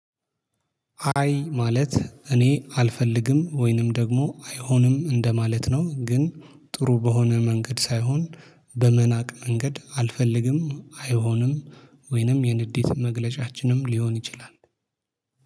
አይ ማለት እኔ አልፈልግም ወይንም ደግሞ አይሆንም እንደማለት ነው ግን ጥሩ በሆነ መንገድ ሳይሆን በመናቅ መንገድ አልፈልግም አይሆንም ወይንም የንዴት መግለጫችንም ሊሆን ይችላል።